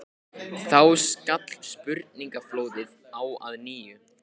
Þá skall spurningaflóðið á að nýju.